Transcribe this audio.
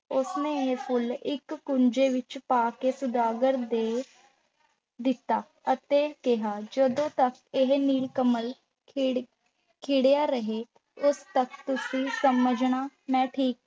ਉਸ ਨੇ ਇਹ ਫੁੱਲ ਇੱਕ ਕੂਜੇ ਵਿੱਚ ਪਾ ਕੇ ਸੁਦਾਗਰ ਦੇ ਦਿੱਤਾ ਅਤੇ ਕਿਹਾ, ਜਦੋਂ ਤੱਕ ਇਹ ਨੀਲ ਕਮਲ ਖਿੜ ਖਿੜਿਆ ਰਹੇ, ਉਦੋਂ ਤੱਕ ਤੁਸੀਂ ਸਮਝਣਾ, ਮੈਂ ਠੀਕ